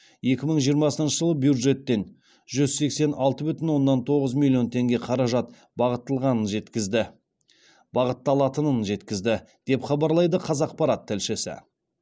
екі мың жиырмасыншы жылы бюджеттен жүз сексен алты бүтін оннан тоғыз миллион теңге қаражат бағытталатынын жеткізді деп хабарлайды қазақпарат тілшісі